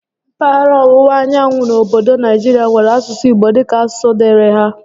Mpaghara ọwụwa anyanwụ obodo Naijirịa nwèrè asụsụ Igbo dịka asụsụ dịịrị há